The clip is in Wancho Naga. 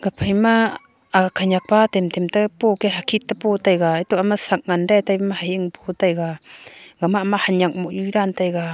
phaima ag khanyak pa temtem te po keh hakhit tepo taiga eto am me sak ngan de taipe me hahing po taiga gama amme hanyak moh nyu dan taiga.